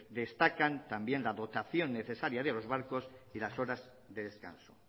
destacan también la dotación necesaria de los barcos y las horas de descanso